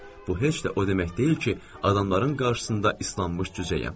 bu heç də o demək deyil ki, adamların qarşısında islanmış cücəyəm.